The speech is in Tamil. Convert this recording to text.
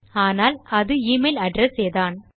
ஆனால் அது எமெயில் அட்ரெஸ் ஏதான்